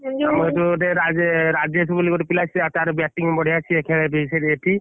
ଆମ ଯୋଉ ଗୋଟେ ରାଜେ ରାଜେସ ବୋଲି ଗୋଟେ ପିଲା ତାର bating ବଢିଆ ସିଏ ଖେଳେ ବି ଏଠି।